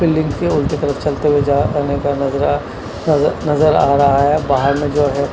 पे लिंक के उनके तरफ चलते हुए जा आने का नजर आ नजर नजर आ रहा बाहर में जो है।